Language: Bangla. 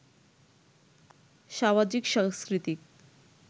সামাজিক-সাংস্কৃতিক